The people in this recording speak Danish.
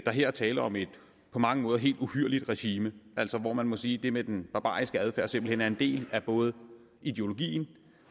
her er tale om et på mange måder helt uhyrligt regime hvor man må sige at det med den barbariske adfærd simpelt hen er en del af både ideologien